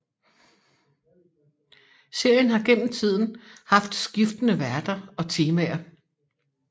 Serien har gennem tiden haft skiftende værter og temaer